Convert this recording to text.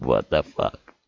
водопад